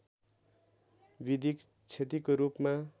विधिक क्षतिको रूपमा